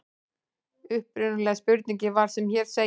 Upprunalega spurningin var sem hér segir: